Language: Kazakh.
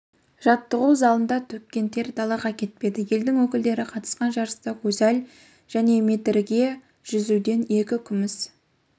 жаттығу залында төккен тер далаға кетпеді елдің өкілдері қатысқан жарыста гузаль және метрге жүзуден екі күміс